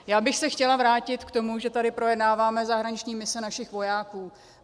Já bych se chtěla vrátit k tomu, že tady projednáváme zahraniční mise našich vojáků.